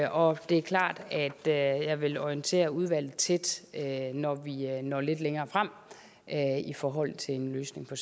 og det er klart at jeg vil orientere udvalget tæt når vi når lidt længere frem i forhold til en løsning på